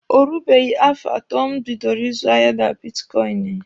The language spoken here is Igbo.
O rubeghi afọ atọ m bidoro ịzụ ahịa na bitkọịnị.